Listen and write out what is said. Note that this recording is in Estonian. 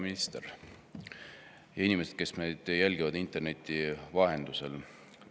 Hea minister ja inimesed, kes meid jälgivad interneti vahendusel!